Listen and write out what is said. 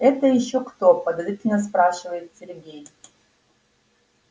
это ещё кто подозрительно спрашивает сергей